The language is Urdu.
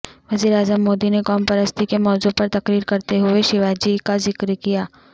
وزیراعظم مودی نے قوم پرستی کے موضوع پر تقریر کرتے ہوئے شیواجی کا ذکر کیا